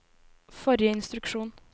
forrige instruksjon